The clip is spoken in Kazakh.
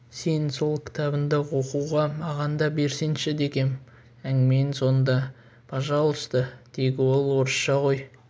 сен сол кітабыңды оқуға маған да берсеңші дегем әңгіменің соңында пожалуйста тек ол орысша ғой